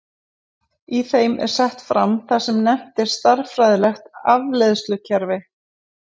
Í þeim er sett fram það sem nefnt er stærðfræðilegt afleiðslukerfi.